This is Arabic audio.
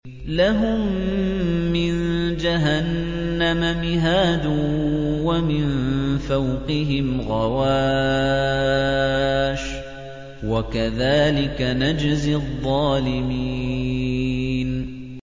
لَهُم مِّن جَهَنَّمَ مِهَادٌ وَمِن فَوْقِهِمْ غَوَاشٍ ۚ وَكَذَٰلِكَ نَجْزِي الظَّالِمِينَ